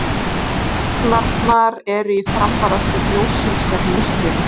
Tignirnar eru í framvarðasveit ljóssins gegn myrkrinu.